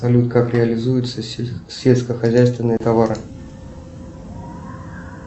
салют как реализуются сельскохозяйственные товары